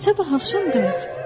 Sabah axşam qayıt.